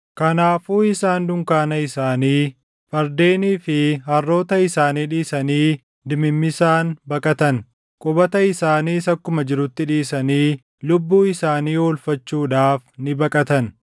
Kanaafuu isaan dunkaana isaanii, fardeenii fi harroota isaanii dhiisanii dimimmisaan baqatan. Qubata isaaniis akkuma jirutti dhiisanii lubbuu isaanii oolfachuudhaaf ni baqatan.